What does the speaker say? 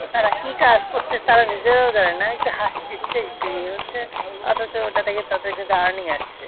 তারা কি কাজ করছে? তারা নিজেরাও জানে না। একটু হাঁসি দিচ্ছে একটু ই হচ্ছে অথচ ওটা থেকে তাদের কিন্তু earning আসছে।